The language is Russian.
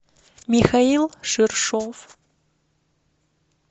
михаил шершов